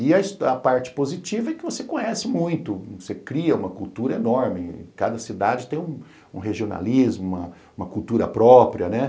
E a parte positiva é que você conhece muito, você cria uma cultura enorme, cada cidade tem um um regionalismo, uma cultura própria, né?